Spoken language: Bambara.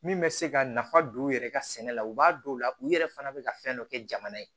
Min bɛ se ka nafa don u yɛrɛ ka sɛnɛ la u b'a dɔw la u yɛrɛ fana bɛ ka fɛn dɔ kɛ jamana ye